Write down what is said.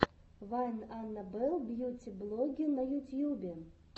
вайн анна белл бьюти блогге на ютьюбе